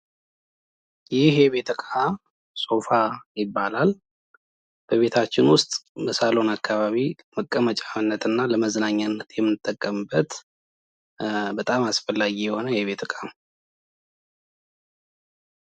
ይህ የቤት ዕቃ ስፋ ይባላል ቤታችን ውስጥ ሳሎን አከባቢ መቀመጫነትና መዝናኛነት የምንጠቀምበት በጣም አስፈላጊ የሆነ የቤት ዕቃ ነው።